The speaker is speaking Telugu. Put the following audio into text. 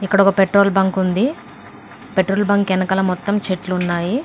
ఇక్కడ ఒక పెట్రోల్ బంక్ ఉంది పెట్రోల్ బంక్ వెనకాల మొత్తం చెట్లున్నాయి.